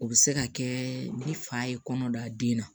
O bɛ se ka kɛ ni fa ye kɔnɔ da den na